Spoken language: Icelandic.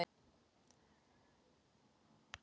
Í stuttu máli: Nei.